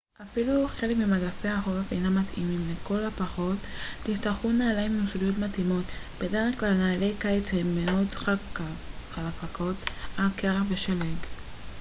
לכל הפחות תצטרכו נעליים עם סוליות מתאימות. בדרך כלל נעלי קיץ הן מאוד חלקלקות על קרח ושלג uאפילו חלק ממגפי החורף אינם מתאימים